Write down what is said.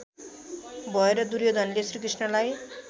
भएर दुर्योधनले श्रीकृष्णलाई